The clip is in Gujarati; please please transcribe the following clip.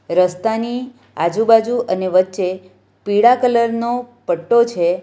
રસ્તાની આજુબાજુ અને વચ્ચે પીળા કલર નો પટ્ટો છે.